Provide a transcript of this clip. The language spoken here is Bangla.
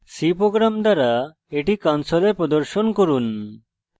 c program দ্বারা এটি console প্রদর্শন করুন